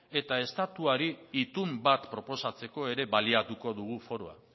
eta estatuari itun bat proposatzeko ere baliatuko dugu foroa